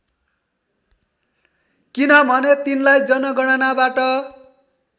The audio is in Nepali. किनभने तिनलाई जनगणनाबाट